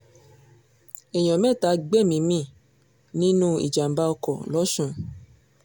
èèyàn mẹ́ta gbẹ̀mí-ín mi nínú ìjàm̀bá ọkọ̀ lọ́sùn